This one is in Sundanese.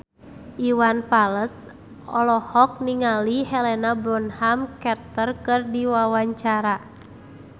Iwan Fals olohok ningali Helena Bonham Carter keur diwawancara